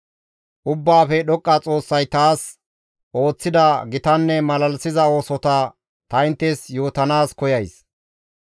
Ubbaafe Dhoqqa Xoossay taas ooththida gitanne malalisiza oosota ta inttes yootanaas koyays.